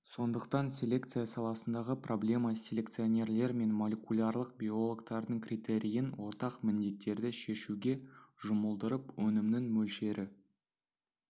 сондықтан селекция саласындағы проблема селекционерлер мен молекулярлық биологтардың критерийін ортақ міндеттерді шешуге жұмылдырып өнімнің мөлшері